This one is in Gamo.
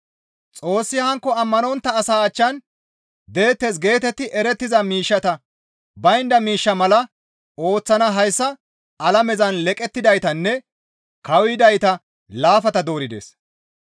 Xoossi hankko ammanontta asaa achchan deettes geetetti erettiza miishshata baynda miishsha mala ooththana hayssa alamezan leqettidaytanne kawuyidayta laafata doorides.